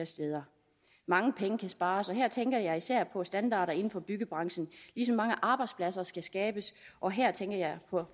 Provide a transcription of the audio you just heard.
steder mange penge kan spares og her tænker jeg især på standarder inden for byggebranchen ligesom mange arbejdspladser skal skabes og her tænker jeg på